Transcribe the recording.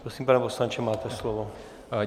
Prosím, pane poslanče, máte slovo.